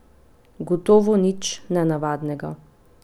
Gotovo nič nenavadnega.